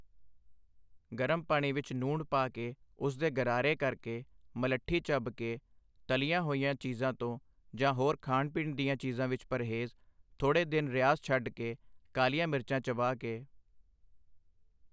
ਗਰਮ ਪਾਣੀ ਵਿੱਚ ਨੂਣ ਪਾ ਕੇ ਉਸਦੇ ਗਰਾਰੇ ਕਰਕੇ ਮਲੱਠੀਂ ਚੱਬ ਕੇ ਤਲੀਆਂ ਹੋਈਆਂ ਚੀਜ਼ਾਂ ਤੋਂ ਜਾਂ ਹੋਰ ਖਾਣ ਪੀਣ ਦੀਆਂ ਚੀਜ਼ਾਂ ਵਿੱਚ ਪਰਹੇਜ਼ ਥੋੜ੍ਹੇ ਦਿਨ ਰਿਆਜ਼ ਛੱਡ ਕੇ ਕਾਲੀਆਂ ਮਿਰਚਾਂ ਚਬਾ ਕੇ